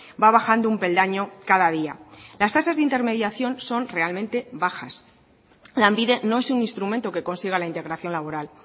va bajando un peldaño cada día las tasas de intermediación son realmente bajas lanbide no es un instrumento que consiga la integración laboral